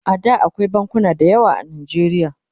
A da akwai bankuna da yawa a najeriya